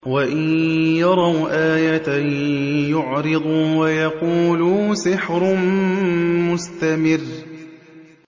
وَإِن يَرَوْا آيَةً يُعْرِضُوا وَيَقُولُوا سِحْرٌ مُّسْتَمِرٌّ